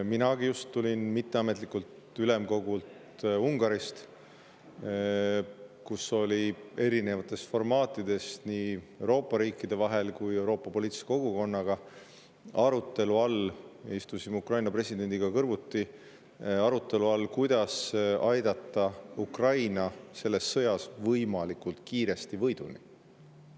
Minagi just tulin mitteametlikult ülemkogult Ungaris, kus oli erinevates formaatides nii Euroopa riikide vahel kui ka Euroopa poliitilise kogukonnaga arutelu all – me istusime Ukraina presidendiga kõrvuti –, kuidas aidata Ukraina selles sõjas võimalikult kiiresti võiduni.